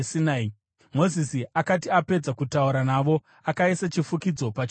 Mozisi akati apedza kutaura navo, akaisa chifukidzo pachiso chake.